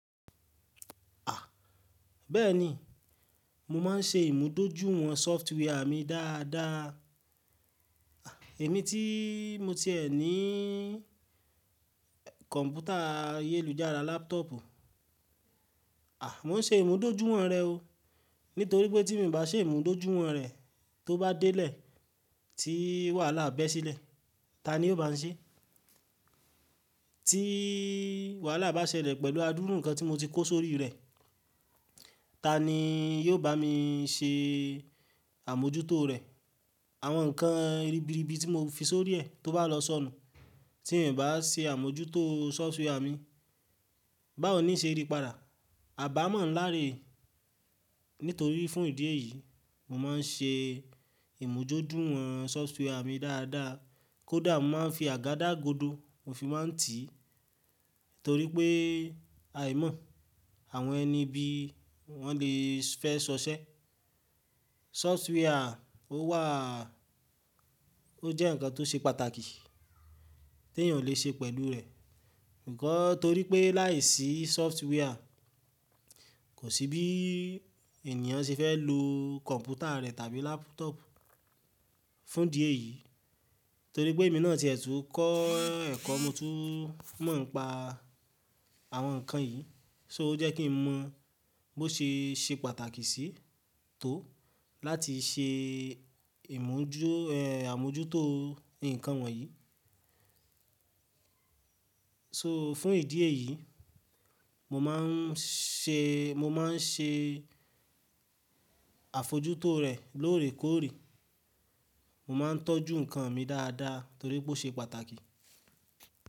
Bẹ́ẹ̀ni, mo máa ń ṣe ìmúdójúìwọ̀n software mi dáadáa. Ẹ̀ mí tí mo ti ẹ ní kọ̀npútà ayélujára laptop, mó ń ṣe ìmúdójúìwọ̀n rẹ̀ o. Nítorí pé tí mo ì bá ṣe ìmúdójúìwọ̀n rẹ̀, tó bá délé tí wàhálà be ṣílẹ̀, ta ni yóò bá ń ṣe? Tí wàhálà bá ṣẹlẹ̀ pẹ̀lú àdúrà nǹkan tí mo ti kó sórí rẹ̀, ta ni yóò bá mi ṣe àmójútó rẹ̀? Àwọn nǹkan ribiribi tí mo fi sórí ẹ tó bá lọ sọnù, tí mo ì bá ṣe àmójútó software mi, bá ò ní ṣe ìrípara, à bá mọ̀ ńláre. Nítorí fún ìdí èyí, mo máa ń ṣe ìmúdójúìwọ̀n software mi dáadáa. Kódà mo máa ń fi àgádágodo mo fi máa ń tì í, torí pé aài mọ́ àwọn ẹni bí wọ́n lè fẹ́ ṣọṣẹ́. Software ó wà, ó jẹ́ ǹkan tó ṣe pàtàkì tí èèyàn lè ṣe pẹ̀lú rẹ̀. Ǹkọ́ torí pé láìsí software, kò sí bí ènìyàn ṣe fẹ́ lo kọ̀npútà rẹ̀ tàbí laptop. Fún ìdí èyí, torí pé èmi náà tí ẹ tu kọ́ ẹ̀kọ́ mo tú mọ̀ ń pa àwọn nǹkan yìí, so, ó jẹ́ kí ń mọ bó ṣe ṣe pàtàkì sí tó láti ṣe ìmójú- ẹ, àmójútó nǹkan wọ̀nyí. So fún ìdí èyí, mo máa ń ṣe, mo máa ń ṣe àfojútó rẹ̀ lóòrèkóòrè. Mo máa ń tọ́jú nǹkan mi dáadáa torí pé ó ṣe pàtàkì.